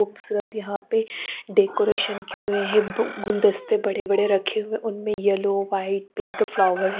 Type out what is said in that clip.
सर्त यहाँ पे डेकोरेशन किये हुए है युप गुलदस्ते बड़े बड़े रखे हुए उनमे येलो वाइट पिंक फ्लावर है।